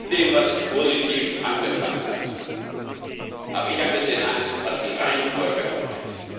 dem, was positiv angefangen hat, habe ich ein bisschen Angst, was die Reihenfolge angeht.